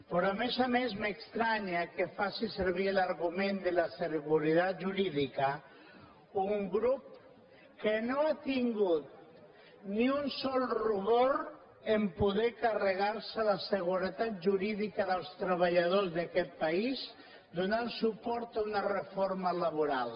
però a més a més m’estranya que faci servir l’argument de la seguretat jurídica un grup que no ha tingut ni un sol rubor a poder carregar se la seguretat jurídica dels treballadors d’aquest país donant suport a una reforma laboral